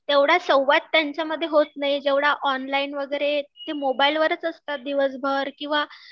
तेवढा संवाद त्यांच्यामध्ये होत नाही जेवढा ऑनलाईन वगैरे ते मोबाईलवरच असतात दिवसभर किंवा